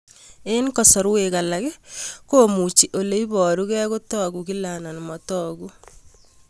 Eng' kasarwek alak komuchi ole parukei kotag'u kila anan matag'u